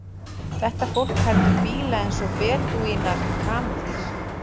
Þetta fólk heldur bíla eins og bedúínar kameldýr.